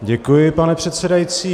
Děkuji, pane předsedající.